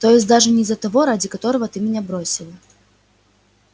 то есть даже не за того ради которого ты меня бросил